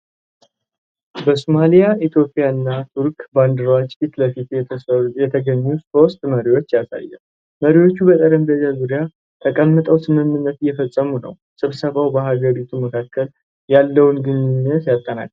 በሶማሊያ፣ ኢትዮጵያ እና ቱርክ ባንዲራዎች ፊት ለፊት የተገኙ ሦስት መሪዎችን ያሳያል። መሪዎቹ በጠረጴዛ ዙሪያ ተቀምጠው ስምምነት እየፈረሙ ነው። ስብሰባው በሀገራቱ መካከል ያለውን ግንኙነት ያጠናክራል?